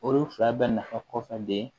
Olu fila bɛɛ nafa kɔfɛ de